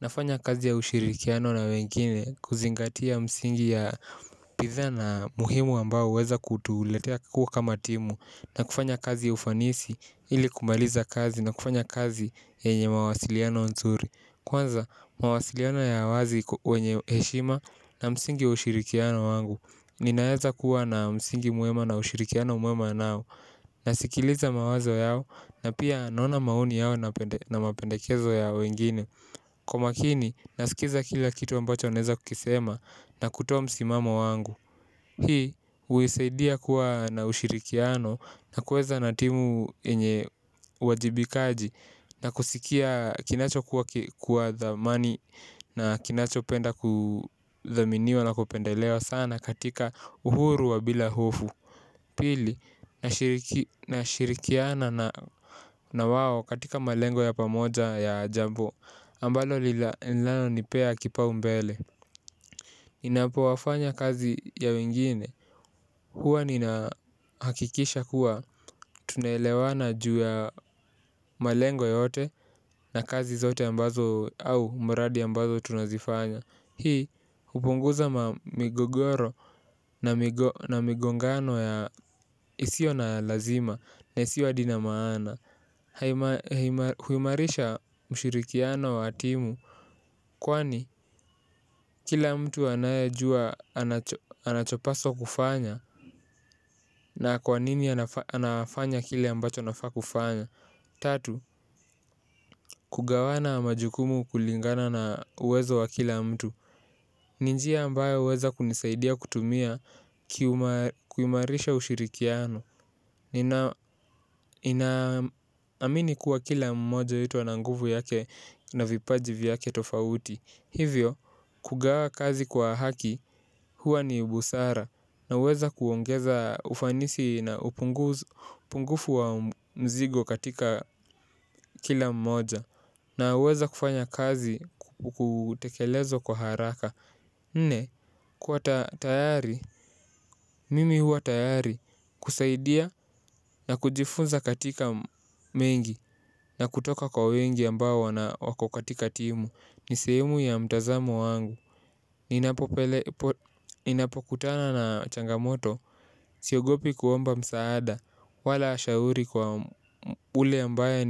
Nafanya kazi ya ushirikiano na wengine kuzingatia msingi ya bidhaa na muhimu ambao huweza kutuletea kama timu. Na kufanya kazi ya ufanisi ili kumaliza kazi na kufanya kazi yenye mawasiliano nzuri. Kwanza mawasiliano ya wazi wenye heshima na msingi wa ushirikiano wangu. Ninaeza kuwa na msingi mwema na ushirikiano mwema nao. Nasikiliza mawazo yao na pia naona maoni yao na mapendekezo ya wengine. Kwa makini, nasikiza kila kitu ambacho wanaeza kukisema na kutoa msimamo wangu. Hii, huisaidia kuwa na ushirikiano na kuweza na timu yenye uwajibikaji, na kusikia kinacho kuwa dhamani na kinachopenda kuthaminiwa na kupendelewa sana katika uhuru wa bila hofu. Pili, nashirikiana na wao katika malengo ya pamoja ya jambo ambalo linalonipea kipaumbele. Inapowafanya kazi ya wengine. Huwa ninahakikisha kuwa tunaelewana juu ya malengo yote. Na kazi zote ambazo au mradi ambazo tunazifanya. Hii hupunguza migogoro na migongano ya isiyo na lazima na isiyo hadi na maana. Huimarisha ushirikiano wa timu kwani, kila mtu anayajua anachopaswa kufanya na kwa nini anafanya kile ambacho anafaa kufanya. Tatu, kugawanya majukumu kulingana na uwezo wa kila mtu. Ni njia ambayo huweza kunisaidia kutumia kuimarisha ushirikiano. Ninaamini kuwa kila mmoja wetu ana nguvu yake na vipaji vyake tofauti. Hivyo kugawa kazi kwa haki huwa ni busara. Naweza kuongeza ufanisi na upungufu wa mzigo katika kila mmoja. Naweza kufanya kazi kutekelezwa kwa haraka. Nne kuwa tayari mimi huwa tayari kusaidia na kujifunza katika mengi na kutoka kwa wengi ambao wako katika timu. Ni sehemu ya mtazamo wangu. Ninapokutana na changamoto. Siogopi kuomba msaada wala shauri kwa ule ambaye